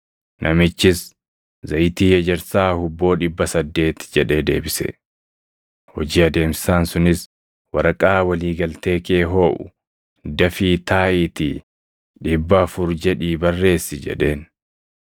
“Namichis, ‘Zayitii ejersaa hubboo dhibba saddeeti’ jedhee deebise. “Hojii adeemsisaan sunis, ‘Waraqaa walii galtee kee hooʼu; dafii taaʼiitii dhibba afur jedhii barreessi’ jedheen.